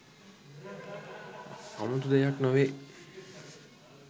අමුතු දෙයක් නොවේ